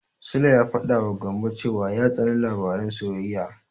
Sule ya faɗawa Gambo cewa ya tsani labaran soyayya.